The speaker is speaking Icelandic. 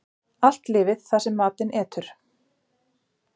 Allt lifir það sem matinn etur.